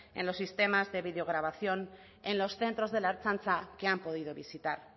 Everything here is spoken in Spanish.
en los sistemas de videograbación en los centros de la ertzaintza que han podido visitar